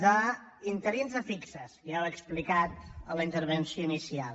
d’interins a fixos ja ho he explicat a la intervenció inicial